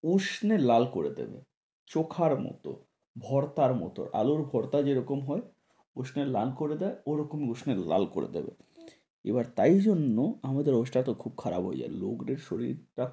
উষ্ণে লাল করে দেবে। চোখার মতো ভর্তার মতো আলুর ভর্তা যেরকম হয়, উষ্ণে লাল করে দেয় ঐরকম উষ্ণে লাল করে দেবে এবার তাই জন্য আমাদের অবস্থা টা তো খুব খারাপ হয়ে যায়, লোকদের শরীর,